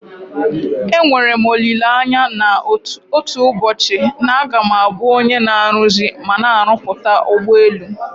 Enwere m olileanya na otu ụbọchị na a ga m abụ onye na-aruzi mana na-arụpụta ụgbọelu.